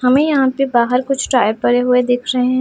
हमें यहां पे बाहर कुछ टायर पड़े हुए दिख रहे हैं।